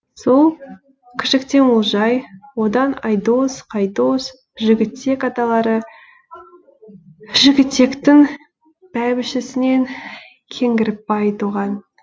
сол кішіктен олжай одан айдос қайдос жігітек аталары жігітектің бәйбішесінен кеңгірбай туған